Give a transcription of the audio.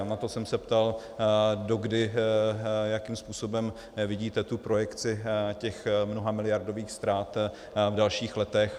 A proto jsem se ptal, dokdy a jakým způsobem vidíte tu projekci těch mnohamiliardových ztrát v dalších letech.